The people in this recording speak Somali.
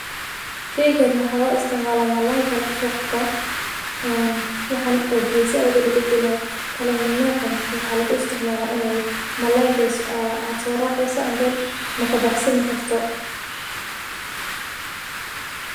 Sheygani waxaa lo isticmala malalayga aya lagu soqabsadha marka makabaxsani karto aithas aya muhiim igu tahay bulshaada daxdedha.